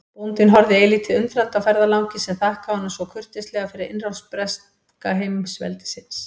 Bóndinn horfði eilítið undrandi á ferðalanginn sem þakkaði honum svo kurteislega fyrir innrás breska heimsveldisins.